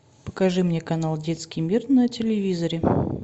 покажи мне канал детский мир на телевизоре